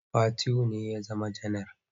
Fatihu ne ya zama janaral.